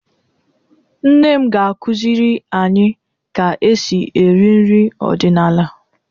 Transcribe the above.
Nne m ga-akụziri anyị ka e si esi nri ọdịnala.